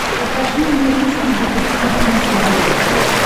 покажи мне русский детектив на смотрешке